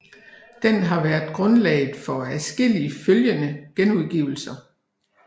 Den har været grundlaget for adskillige følgende genudgivelser